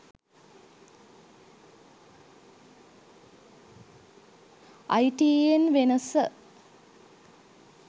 itn wenasa